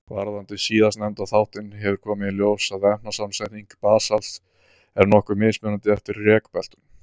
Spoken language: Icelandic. Varðandi síðastnefnda þáttinn hefur komið í ljós að efnasamsetning basalts er nokkuð mismunandi eftir rekbeltunum.